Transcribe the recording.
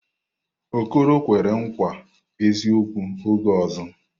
Okoro kwere nkwa eziokwu oge ọzọ.